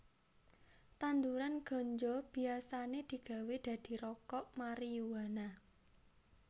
Tanduran ganja biasané digawé dadi rokok mariyuana